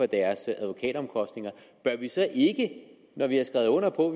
deres advokatomkostninger bør vi så ikke når vi har skrevet under på